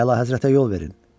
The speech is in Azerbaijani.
Əlahəzrətə yol verin.